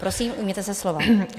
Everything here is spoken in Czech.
Prosím, ujměte se slova.